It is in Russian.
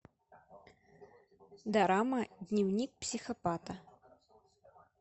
дорама дневник психопата